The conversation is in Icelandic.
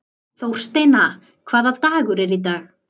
Þórsteina, hvaða dagur er í dag?